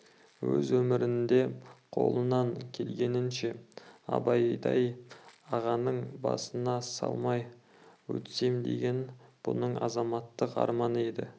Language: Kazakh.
өз өмірінде қолынан келгенінше абайдай ағаның басына салмай өтсем деген бұның азаматтық арманы еді